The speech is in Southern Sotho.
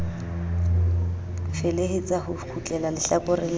felehetsa ho kgutleha hlakoreng la